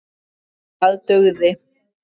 Það dugði.